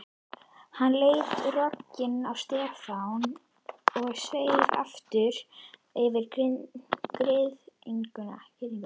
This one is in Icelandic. Hann leit rogginn á Stefán og sveif aftur yfir girðinguna.